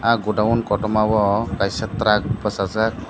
ah godown kotomao kaisa truck bwchajak.